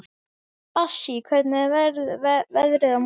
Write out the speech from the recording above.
Bassí, hvernig er veðrið á morgun?